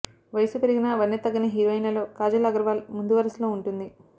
వయసు పెరిగినా వన్నె తగ్గని హీరోయిన్లలో కాజల్ అగర్వాల్ ముందువరుసలో ఉంటుంది